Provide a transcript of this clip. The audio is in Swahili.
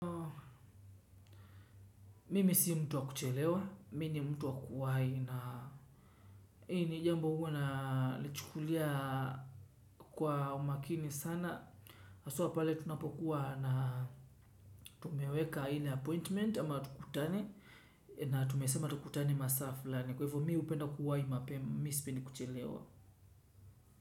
Mimi si mtu wa kuchelewa, mimi ni mtu wa kuwahi na hii ni jambo huwa nalichukulia kwa umakini sana. Mimi si mtu wa kuchelewa, mimi ni mtu wa kuwahi na hii ni jambo huwa nalichukulia kwa umakini sana. Tumeweka aina appointment ama tukutane na tumesema tukutane maasa fulani. Kwa hivo mimi hupenda kuwahi mapema mimi sipendi kuchelewa.